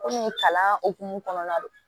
Komi kalan hokumu kɔnɔna don